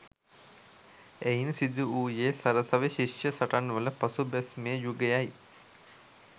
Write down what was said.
එයින් සිදු වූයේ සරසවි ශිෂ්‍ය සටන්වල පසුබැස්මේ යුගයයි.